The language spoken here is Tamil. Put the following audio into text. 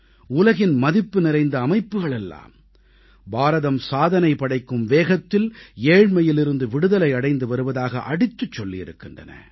உலகின் மதிப்புநிறைந்த அமைப்புகளெல்லாம் பாரதம் சாதனை படைக்கும் வேகத்தில் ஏழ்மையிலிருந்து விடுதலை அடைந்து வருவதாக அடித்துச் சொல்லியிருக்கின்றன